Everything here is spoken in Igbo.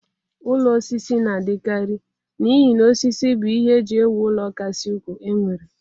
Ụlọ osisi na-adịkarị n'ihi na osisi bụ ihe e ji ewu ụlọ kasị ukwuu e nwere.